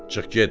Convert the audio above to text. Çıx get.